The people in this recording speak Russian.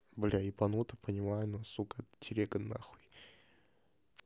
бля ебанута понимаю насука телега нахуй